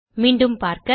மீண்டும் பார்க்க